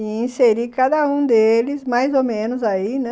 E inseri cada um deles, mais ou menos aí, né?